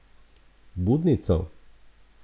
Budnico?